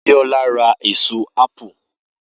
Biola ra ẹ̀so appe